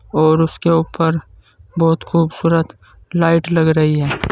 और उसके ऊपर बहुत खूबसूरत लाइट लग रही है।